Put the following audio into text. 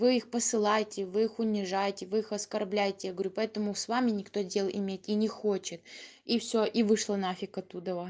вы их посылаете вы их унижаете вы их оскорбляете я говорю поэтому с вами никто дел иметь и не хочет и всё и вышла на фиг оттуда